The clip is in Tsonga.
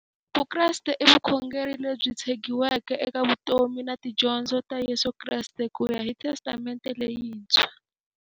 Vukreste i vukhongeri lebyi tshegiweke eka vutomi na tidyondzo ta Yesu Kreste kuya hi Testamente leyintshwa.